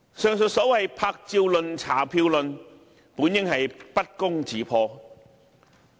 上述所謂"拍照論"、"查票論"本應不攻自破。